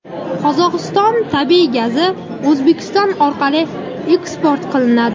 Qozog‘iston tabiiy gazi O‘zbekiston orqali eksport qilinadi.